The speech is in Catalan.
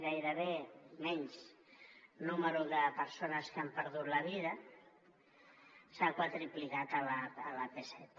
gairebé menys nombre de persones que han perdut la vida s’ha quadruplicat a l’ap set